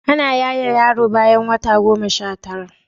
Ana yaye yaro bayan wata goma Sha tara